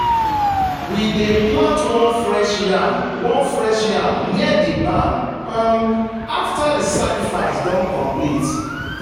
we dey plant one fresh yam one fresh yam near the barn um after the sacrifice don complete.